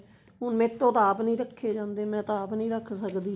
ਹੁਣ ਮੈਥੋਂ ਤਾਂ ਆਪ ਨੀ ਰੱਖੇ ਜਾਂਦੇ ਮੈਂ ਤਾਂ ਆਪ ਨੀ ਰੱਖਦੀ